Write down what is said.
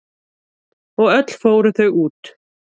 Og öll fóru þau út.